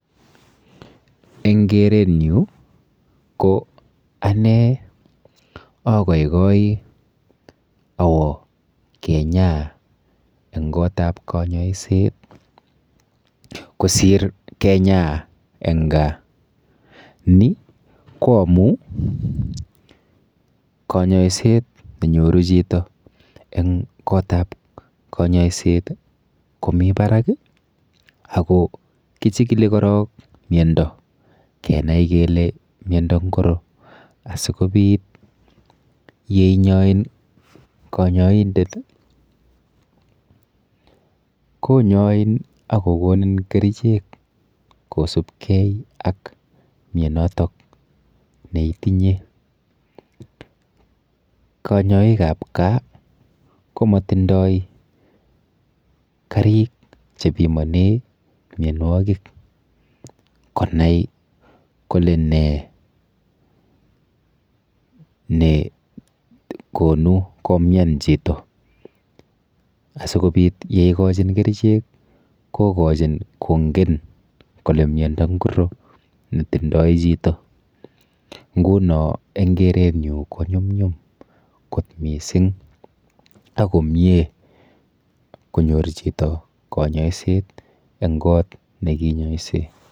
Eng keret nyu ko ane agaigai awo kenyaa eng koot ap konyoiset kosir kenyaa eng gaa ni ko amu konyoiset nenyoru chito eng koot ap konyoiset ko mi barak ako kichikili korok miondo kenai kele miondo ngiro asikobit yeinyoin konyoindet konyoin akokonin kerchek kosupkei ak mionotok neitinye konyoik ap gaa ko matindoi karik chepimanee mionwokik konai kole nee nekonu komian chito asikobit yo ikochin kerchek kokochin kongen kole miondo ngiro nitindoi chito nguno eng kerenyu ko nyumnyum kot mising takomiee konyor chito konyoiset eng koot nekinyoise.